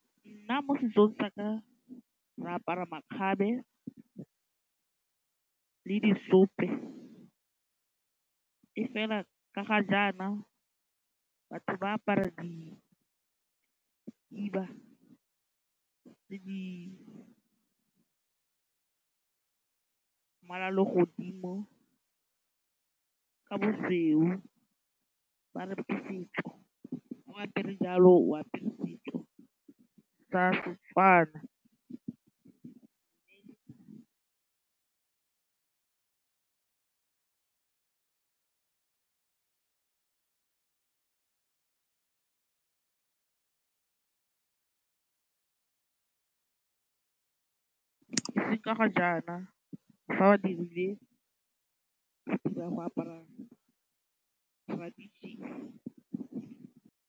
Nna mo setsong tsa ka re apara makgabe le di seope e fela ka ga jaana batho ba apara dikhiba le di mmala wa legodimo ka bosweu ba re ke setso fao apere jalo o apere setso sa seTswana mme ka ga jaana fa ba dirile apara tradition-e.